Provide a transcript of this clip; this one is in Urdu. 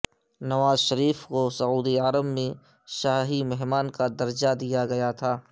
نواز شریف کو سعودی عرب میں شاہی مہمان کا درجہ دیا گیا تھا